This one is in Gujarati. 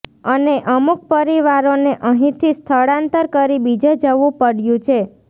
અને અમુક પરિવારોને અહીથી સ્થળાંતર કરી બીજે જવુ પડયુ છે